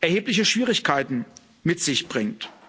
erhebliche Schwierigkeiten mit sich bringt.